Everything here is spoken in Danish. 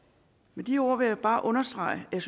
med de ord vil jeg bare understrege at jeg